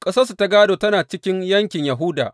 Ƙasarsu ta gādo tana cikin yankin Yahuda.